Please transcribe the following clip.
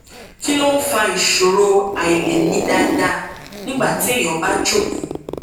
kí ló ń fa ìṣòro àìlèmí dáadáa nígbà téèyàn bá jókòó